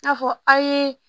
N'a fɔ aw ye